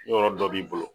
Yɔrɔ dɔ b'i bolo